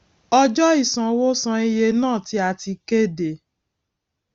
ọjọ ìṣanwó san iye náà tí a ti kéde